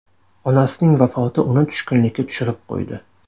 Onasining vafoti uni tushkunlikka tushirib qo‘ydi.